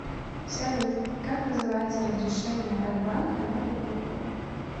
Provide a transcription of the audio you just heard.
салют как называется разрешение от банка на покупку